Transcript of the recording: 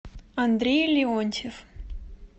андрей леонтьев